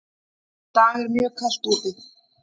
Í dag er mjög kalt úti.